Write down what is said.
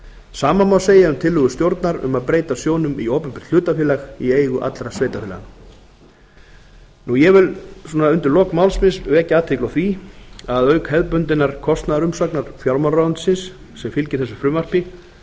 sama má segja um tillögu stjórnar um að breyta sjóðnum í opinbert hlutafélag í eigu alla sveitarfélaga ég vil undir lok máls míns vekja athygli á því að auk hefðbundinnar kostnaðarumsagnar fjármálaráðuneytisins sem fylgir þessu frumvarpi